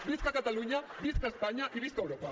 visca catalunya visca espanya i visca europa